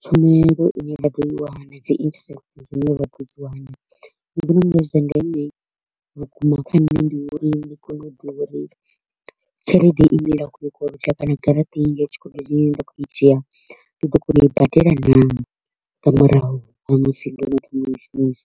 tshumelo i ne nda kho u i wana na dzi interest dzi ne ra kho u dzi wana. Zwa ndeme vhukuma kha nṋe ndi uri ndi kone u ḓivha uri tshelede i ne nda kho u i koloda kana garaṱa i yi ya tshikodo ine nda kho u i dzhia ndi ḓo kona u i badela naa nga murahu ha musi ndo no thoma u i shumisa.